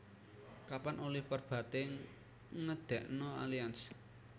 Kapan Oliver Bate ngedekno Allianz